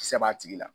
Kisɛ b'a tigi la